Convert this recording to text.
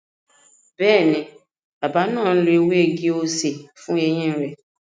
Bẹẹni, bàbá náà ń lo ewé igi-osè fún eyín rẹ